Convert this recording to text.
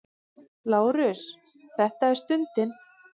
LÁRUS: Þetta er stundin!